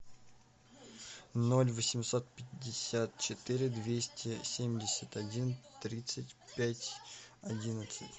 ноль восемьсот пятьдесят четыре двести семьдесят один тридцать пять одиннадцать